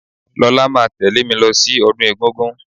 Lọlá máa tẹ̀lẹ́ mí lọ sí ọdún egúngún.